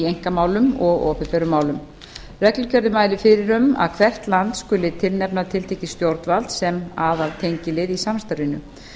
einkamálum og opinberum málum reglugerðin mælir fyrir um að hvert land skuli tilnefna tiltekið stjórnvald sem aðaltengilið í samstarfinu